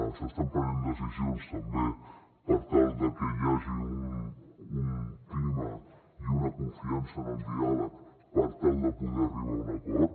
s’estan prenent decisions també per tal de que hi hagi un clima i una confiança en el diàleg per tal de poder arribar a un acord